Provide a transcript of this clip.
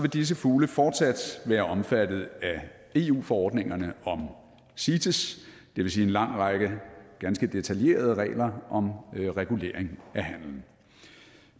disse fugle fortsat være omfattet af eu forordningerne om cites det vil sige en lang række ganske detaljerede regler om regulering af handelen